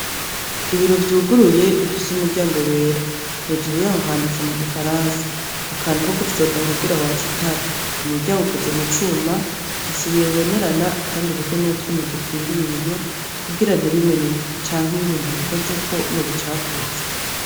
Ibiro vyuguruye bifise umuryango wera, hejuru yaho handitse mu gifaransa, akantu ko gufyonda kugira watse itara. Umuryango ukoze mu cuma, ufise ibiyo bibonerana kandi uriko n'utwuma dukingira ibiyo kugira ntibimeneke canke iyo umuntu abikozeko ngo abicafuze.